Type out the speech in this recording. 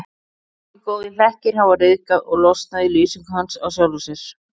Margir góðir hlekkir hafa ryðgað og losnað í lýsingu hans á sjálfum sér.